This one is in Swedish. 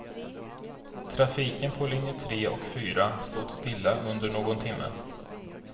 Trafiken på linje tre och fyra stod stilla under någon timme.